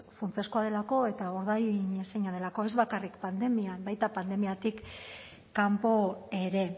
funtsezkoa delako eta ordainezina delako ez bakarrik pandemian baita pandemiatik kanpo ere